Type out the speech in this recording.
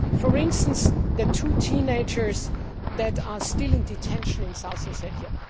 For instance, the two teenagers that are still in detention in South Ossetia.